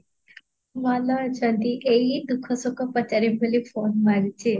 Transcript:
ଭଲ ଅଛନ୍ତି ଏଇ ଦୁଃଖ ସୁଖ ପଚାରିବି ବୋଲି phone ମାରିଛି